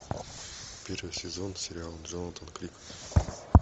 первый сезон сериал джонатан крик